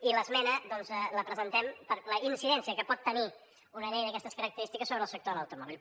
i l’esmena doncs la presentem per la incidència que pot tenir una llei d’aquestes característiques sobre el sector de l’automòbil